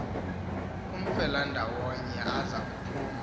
amfelandawonye aza kuphuma